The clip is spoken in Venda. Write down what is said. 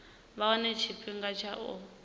vha wane tshifhinga tsha u